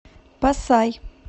пасай